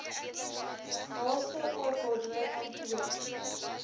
naaste okd kantoor